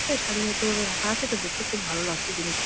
তে শাড়ি হতো রাখা আছে দেখতে খুব ভালো লাগছে জিনিস গুল--